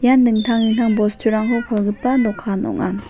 dingtang dingtang bosturangko palgipa dokan ong·a.